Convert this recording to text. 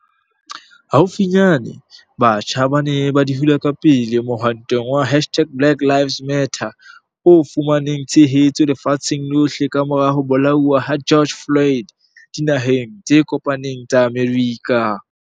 Haufinyane, batjha ba ne ba di hula pele mohwantong wa hashtag-BlackLivesMatter o fumaneng tshehetso lefatsheng lohle kamora ho bolauwa ha George Floyd Dinaheng tse Kopaneng tsa Amerika.